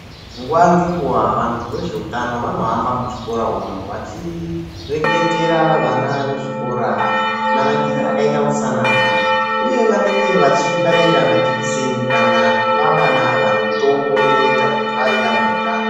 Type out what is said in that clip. Nguwa ngenguwa vantu vezvehutano vanohamba muzvikora umu vachireketera vana vezvikora manakire akaita utsanana uye vanenge vachibaira majekiseni kana kupa vana ava mitombo inoita kuti vave vane utano.